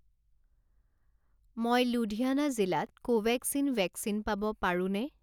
মই লুধিয়ানা জিলাত Covaxin vaccine পাব পাৰোঁনে?